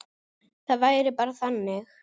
Það væri bara þannig.